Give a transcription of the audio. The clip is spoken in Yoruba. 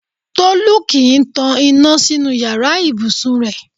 Tolú kò kín ń tan iná sínú yàrá ìbùsùn rẹ̀.